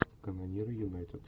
канониры юнайтед